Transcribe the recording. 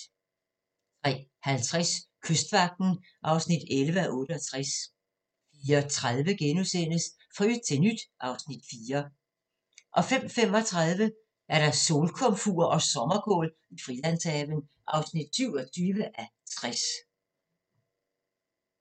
03:50: Kystvagten (11:68) 04:30: Fra yt til nyt (Afs. 4)* 05:35: Solkomfur og sommerkål i Frilandshaven (27:60)